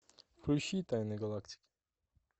включи тайны галактики